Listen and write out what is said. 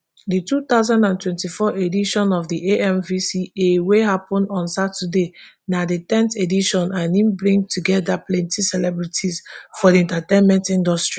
di two thousand and twenty-four edition of di amvca wey happun on saturday na di ten th edition and e bring togeda plenti celebrities for di entertainment industry